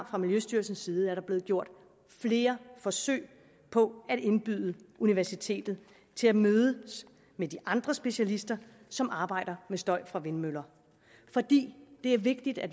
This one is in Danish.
fra miljøstyrelsens side er der blevet gjort flere forsøg på at indbyde universitetet til at mødes med de andre specialister som arbejder med støj fra vindmøller fordi det er vigtigt at